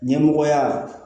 Ɲɛmɔgɔya